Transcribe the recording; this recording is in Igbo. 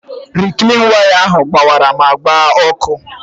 Riklin waya ahụ gbabiri ma gbaa ọkụ.